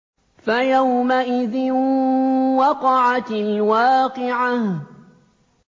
فَيَوْمَئِذٍ وَقَعَتِ الْوَاقِعَةُ